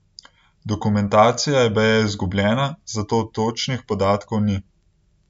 Dokumentacija je baje izgubljena, zato točnih podatkov ni.